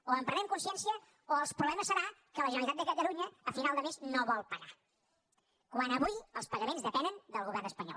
o en prenem consciència o el problema serà que la generalitat de catalunya a final de mes no vol pagar quan avui els pagaments depenen del govern espanyol